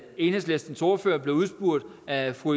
enhedslistens ordfører blev udspurgt af fru